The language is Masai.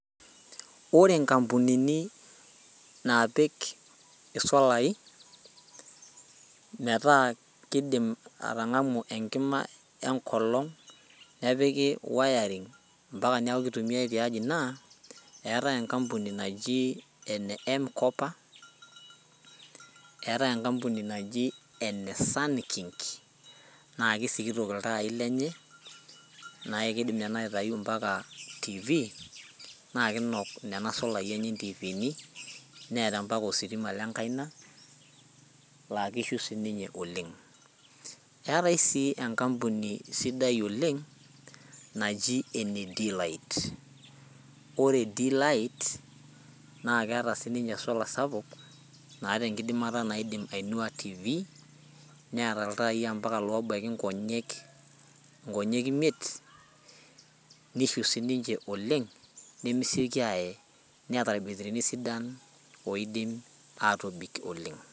Ore nkampunini naapik isolai metaa keidim atangamu enkima enkolong nipik wiring mpaka neeku keitumiyai tiaji naa etae enkampuni naji ene empkopa ,eetae enkampuni naji ene sunking naa kisikitok iltaai lenye naa keidim ena aitayu mpaka tv naa kinok Nena solai enye ntifiini neeta mpaka ositima lenkaina laa kishu siininye oleng ,eetae sii enkampuni sidai oleng naji ene d light ore d light naa keeta siininye esola sapuk naata enkidimata naaidim ainua tv neeta ltai mpaka loobaiki nkonyek imiet nishiu siininche oleng nemesioki aaye neeta irbetirini odim atobik oleng.